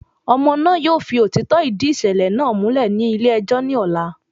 Ọmọ náà yóò fi òtítọ́ ìdí ìṣẹ̀lẹ̀ náà múlẹ̀ ní ilé ẹjọ́ ní ọ̀la